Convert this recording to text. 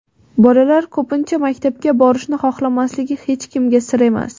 Bolalar ko‘pincha maktabga borishni xohlamasligi hech kimga sir emas.